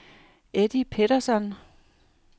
Eddie Pettersson